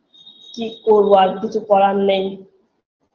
কি করবো আর কিছু করার নেই